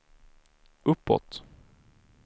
uppåt